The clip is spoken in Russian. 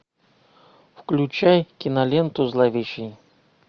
включай киноленту зловещий